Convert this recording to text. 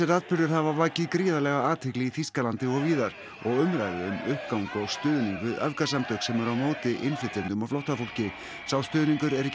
atburðir hafa vakið gríðarlega athygli í Þýskalandi og víðar og umræðu um uppgang og stuðning við öfgasamtök sem eru á móti innflytjendum og flóttafólki sá stuðningur er ekki